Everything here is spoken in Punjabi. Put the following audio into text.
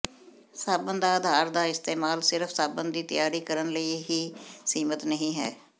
ਸਾਬਣ ਦਾ ਅਧਾਰ ਦਾ ਇਸਤੇਮਾਲ ਸਿਰਫ ਸਾਬਣ ਦੀ ਤਿਆਰੀ ਕਰਨ ਲਈ ਹੀ ਸੀਮਿਤ ਨਹੀ ਹੈ